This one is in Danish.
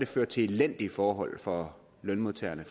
ført til elendige forhold for lønmodtagerne